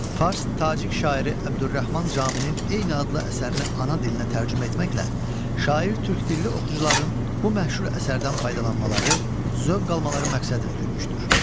Fars tacik şairi Əbdürrəhman Caminin eyni adlı əsərini ana dilinə tərcümə etməklə şair türk dilli oxucuların bu məşhur əsərdən faydalanmaları, zövq almaları məqsədini güdmüşdür.